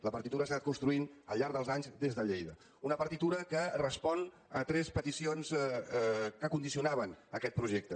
la partitura s’ha anat construint al llarg dels anys des de lleida una partitura que respon a tres peticions que condi cionaven aquest projecte